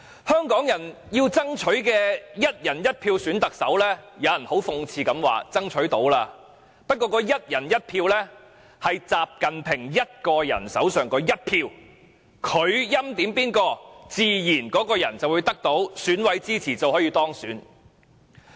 香港人要爭取"一人一票"選特首，但有人卻很諷刺地指我們已經成功爭取，但這"一人一票"是習近平一個人手上那一票，他欽點的人自然會得到選舉委員會委員的支持並當選。